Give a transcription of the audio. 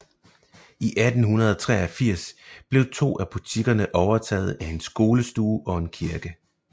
I 1883 blev to af butikkerne overtaget af en skolestue og en kirke